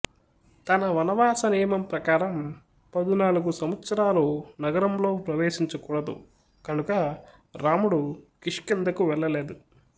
తన వనవాస నియమం ప్రకారం పదునాలుగు సంవత్సరాలు నగరంలో ప్రవేశించకూడదు గనుక రాముడు కిష్కింధకు వెళ్ళలేదు